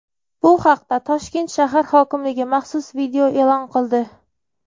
Bu haqda Toshkent shahar hokimligi maxsus video e’lon qildi.